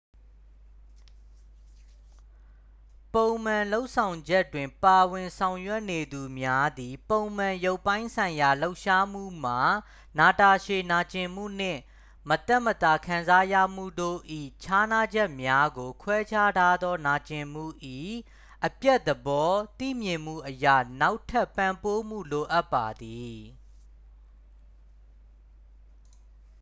ပုံမှန်လုပ်ဆောင်ချက်တွင် ပါဝင် ဆောင်ရွက်နေသူများသည် ပုံမှန် ရုပ်ပိုင်းဆိုင်ရာ လှုပ်ရှားမှုမှ နာတာရှည် နာကျင်မှုနှင့် မသက်မသာ ခံစားရမှုတို့၏ ခြားနားချက်များကို ခွဲခြားထားသော နာကျင်မှု၏ အပျက်သဘော သိမြင်မှုအရ နောက်ထပ် ပံ့ပိုးမှု လိုအပ်ပါသည်